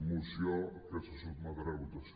moció que se sotmetrà a votació